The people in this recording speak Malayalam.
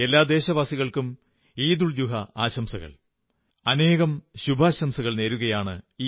എല്ലാ ദേശവാസികൾക്കും ഈദുൽ സുഹാ ആശംസകൾ അനേകമനേകം ശുഭാശംസകൾ നേരുന്നു